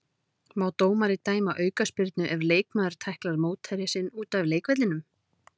Má dómari dæma aukaspyrnu ef leikmaður tæklar mótherja sinn út af leikvellinum?